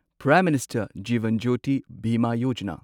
prime minister Jeevan Jyoti Bima Yojana